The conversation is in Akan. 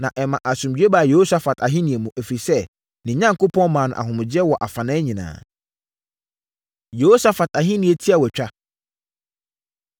Na ɛmaa asomdwoeɛ baa Yehosafat ahennie mu, ɛfiri sɛ, ne Onyankopɔn maa no ahomegyeɛ wɔ afanan nyinaa. Yehosafat Ahennie Tiawatwa